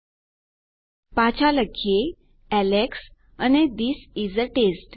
ચાલો પાછા જઈએ અને લખીએ એલેક્સ અને થિસ ઇસ એ ટેસ્ટ